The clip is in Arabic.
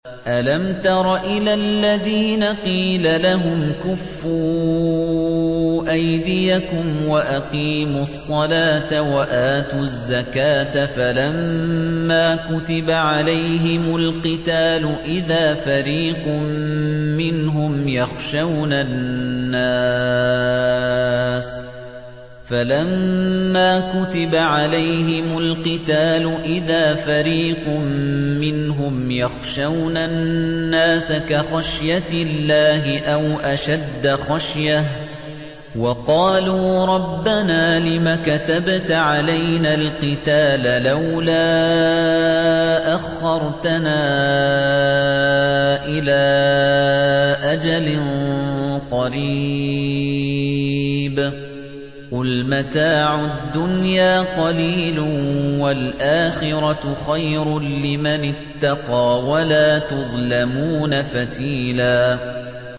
أَلَمْ تَرَ إِلَى الَّذِينَ قِيلَ لَهُمْ كُفُّوا أَيْدِيَكُمْ وَأَقِيمُوا الصَّلَاةَ وَآتُوا الزَّكَاةَ فَلَمَّا كُتِبَ عَلَيْهِمُ الْقِتَالُ إِذَا فَرِيقٌ مِّنْهُمْ يَخْشَوْنَ النَّاسَ كَخَشْيَةِ اللَّهِ أَوْ أَشَدَّ خَشْيَةً ۚ وَقَالُوا رَبَّنَا لِمَ كَتَبْتَ عَلَيْنَا الْقِتَالَ لَوْلَا أَخَّرْتَنَا إِلَىٰ أَجَلٍ قَرِيبٍ ۗ قُلْ مَتَاعُ الدُّنْيَا قَلِيلٌ وَالْآخِرَةُ خَيْرٌ لِّمَنِ اتَّقَىٰ وَلَا تُظْلَمُونَ فَتِيلًا